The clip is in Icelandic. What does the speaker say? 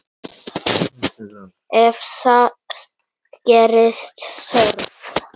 Ef þess gerist þörf